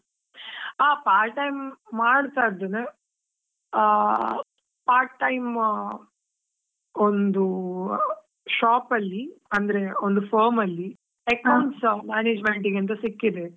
ಆ part time ಮಾಡ್ತಾ ಇದ್ದೇನೆ, ಆ part time ಒಂದು shop ಅಲ್ಲಿ ಅಂದ್ರೆ, ಒಂದು firm ಅಲ್ಲಿ management ಗೆ ಅಂತ ಸಿಕ್ಕಿದೆ.